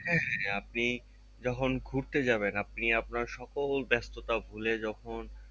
হ্যাঁ হ্যাঁ আপনি যখন ঘুরতে যাবেন আপনি আপনার সকল ব্যাস্ততা ভুলে যখন